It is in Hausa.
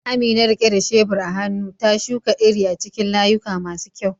Amina, rike da shebur a hannu, ta shuka iri a cikin layuka masu kyau.